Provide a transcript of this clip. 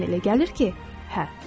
Amma mənə elə gəlir ki, hə.